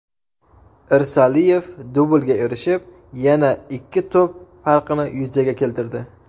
Irsaliyev dublga erishib, yana ikki to‘p farqini yuzaga keltirdi.